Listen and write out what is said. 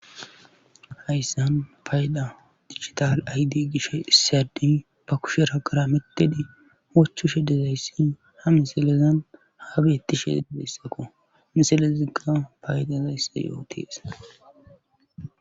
Hayssan payda digital aydi gishe issiyadi ba kusherhagara mededi hochu shedezayssi ha miselezan haa beettishee de beyssakko misele zigga paydazayssa yootees.